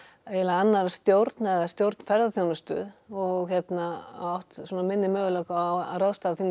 annarra stjórn stjórn ferðaþjónustu og átt minni möguleika á að ráðstafa